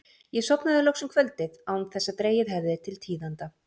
Ég sofnaði loks um kvöldið án þess að dregið hefði til tíðinda.